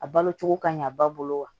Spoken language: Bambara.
A balo cogo ka ɲa ba bolo wa